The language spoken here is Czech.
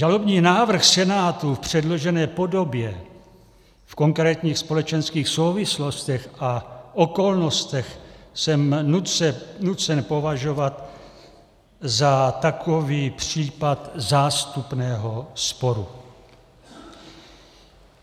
Žalobní návrh Senátu v předložené podobě v konkrétních společenských souvislostech a okolnostech jsem nucen považovat za takový případ zástupného sporu.